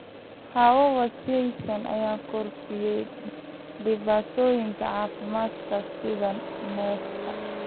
Hawo wasakhaysan ayaa kordhisay dhibaatooyinka caafimaadka sida neefta.